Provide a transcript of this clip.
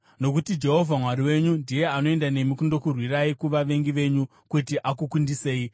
Nokuti Jehovha Mwari wenyu ndiye anoenda nemi kundokurwirai kuvavengi venyu kuti akukundisei.”